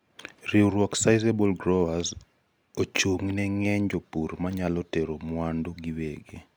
riwruog sizeable growers chung'ne ng'eny jopur manyalo tero mwandu giwegi